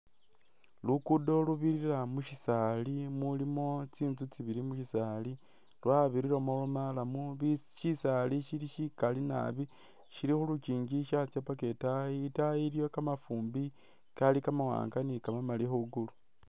Lukudo lubirira mushisali mulimo tsitsu tsibili mushisali lwabiriramo murram shisali shili shikali nabi shili khulukyinji shatsa paka itayi, itayi iliyo kamafumbi Kali kamamali ni kamawanga khulukulu